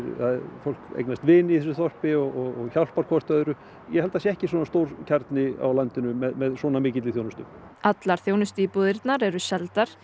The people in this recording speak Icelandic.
fólk eignast vini í þessu þorpi og hjálpar hvort öðru ég held að það sé ekki svona stór kjarni á landinu með svona mikilli þjónustu allar þjónustuíbúðirnar eru seldar